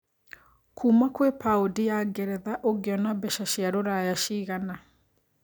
Kuma kwĩ paũndi ya ngeretha ũngiona mbeca cia rũraya cigana